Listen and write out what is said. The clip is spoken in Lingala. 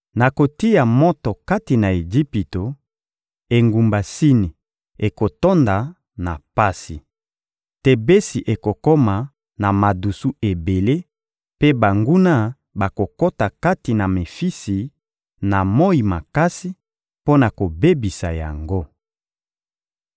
Nakotia moto kati na Ejipito; engumba Sini ekotonda na pasi. Tebesi ekokoma na madusu ebele mpe banguna bakokota kati na Mefisi na moyi makasi, mpo na kobebisa yango.